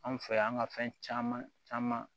Anw fɛ yan ka fɛn caman caman